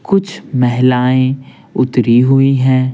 कुछ महिलाएं उतरी हुई हैं।